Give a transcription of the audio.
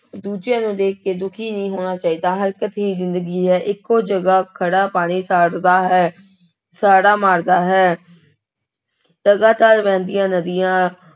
ਦੂਜਿਆਂ ਨੂੰ ਦੇਖ ਕੇ ਦੁਖੀ ਨਹੀਂ ਹੋਣਾ ਚਾਹੀਦਾ, ਹਰਕਤ ਹੀ ਜ਼ਿੰਦਗੀ ਹੈ, ਇੱਕੋ ਜਗ੍ਹਾ ਖੜਾ ਪਾਣੀ ਹੈ ਸਾੜਾ ਮਾਰਦਾ ਹੈ ਲਗਾਤਾਰ ਵਹਿੰਦੀਆਂ ਨਦੀਆਂ,